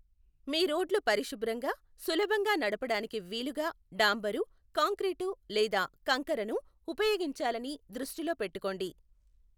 మీ రోడ్లు పరిశుభ్రంగా, సులభంగా నడపడానికి వీలుగా డాంబరు, కాంక్రీటు లేదా కంకరను ఉపయోగించాలని దృష్టిలో పెట్టుకోండి.